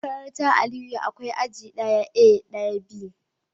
A makarantar Aliyu akwai aji daya A da daya B